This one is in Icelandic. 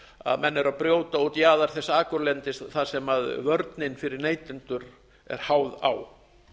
að menn eru að brjóta út jaðar þess akurlendis þar sem vörnin fyrir neytendur er háð á